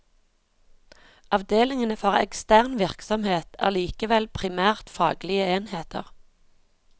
Avdelingene for ekstern virksomhet er likevel primært faglige enheter.